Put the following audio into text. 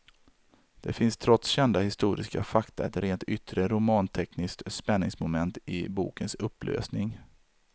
Det finns trots kända historiska fakta ett rent yttre romantekniskt spänningsmoment i bokens upplösning.